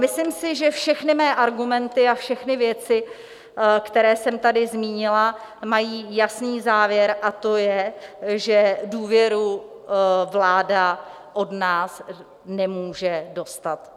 Myslím si, že všechny mé argumenty a všechny věci, které jsem tady zmínila, mají jasný závěr, a to je, že důvěru vláda od nás nemůže dostat.